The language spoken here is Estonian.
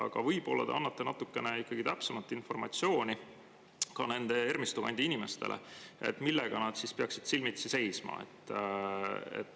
Aga võib-olla te annate ikkagi natukene täpsemat informatsiooni Ermistu kandi inimestele, et nad teaksid, millega nad peavad silmitsi seisma.